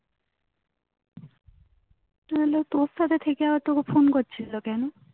তাহলে তোর থেকে তোকে phone করছিলো কেন?